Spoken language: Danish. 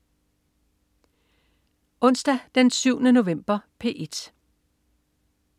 Onsdag den 7. november - P1: